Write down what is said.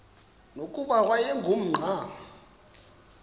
nokuba wayengu nqal